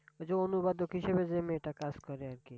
ওই যে অনুবাদক হিসাবে যে মেয়েটা কাজ করে আর কি।